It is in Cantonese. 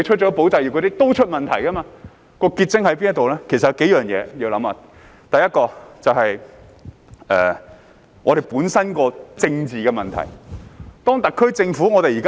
其實我們有數件事情需要考慮：第一，就是我們本身的政治問題。當特區政府......